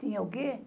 Tinha o quê?